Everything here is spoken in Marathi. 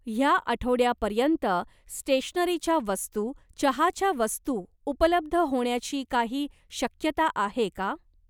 ह्या आठवड्यापर्यंत स्टेशनरीच्या वस्तू, चहाच्या वस्तू उपलब्ध होण्याची काही शक्यता आहे का?